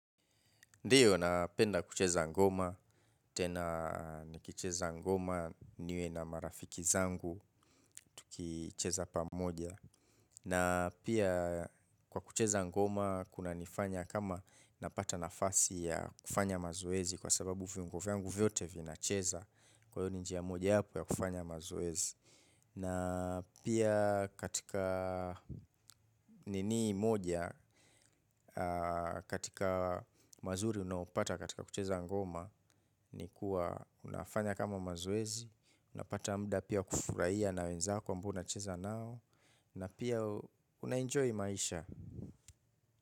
Ndio, napenda kucheza ngoma, tena nikicheza ngoma niwe na marafiki zangu tukicheza pamoja. Na pia kwa kucheza ngoma, kunanifanya kama napata nafasi ya kufanya mazoezi kwa sababu viungo vyangu vyote vinacheza kwa hiyo ni njia mojawapo ya kufanya mazoezi. Na pia katika nini moja, katika mazuri unayopata katika kucheza ngoma, ni kuwa unafanya kama mazoezi, unapata muda pia kufurahia na wenzako ambao unacheza nao, na pia unaenjoy maisha.